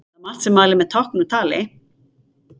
Það er margt sem mælir með táknum með tali.